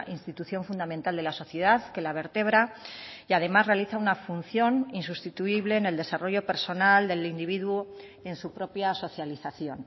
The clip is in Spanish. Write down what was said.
institución fundamental de la sociedad que la vertebra y además realiza una función insustituible en el desarrollo personal del individuo en su propia socialización